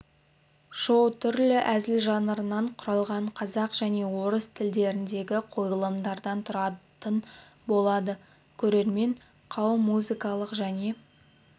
шоу түрлі әзіл жанрларынан құралған қазақ және орыс тілдеріндегі қойылымдардан тұратын болады көрермен қауым музыкалық және